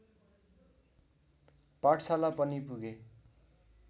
पाठशाला पनि पुगे